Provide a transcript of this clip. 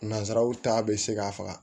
Nanzaraw ta bɛ se ka faga